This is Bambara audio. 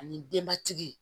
Ani denbatigi